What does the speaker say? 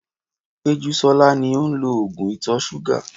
Pejusola ni ó ń lo oògùn ìtọ̀ ṣúgà.